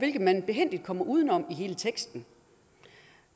man behændigt kommer uden om i hele teksten